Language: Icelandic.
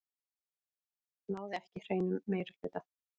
Náði ekki hreinum meirihluta